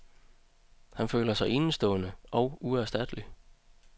Han føler sig enestående og uerstattelig.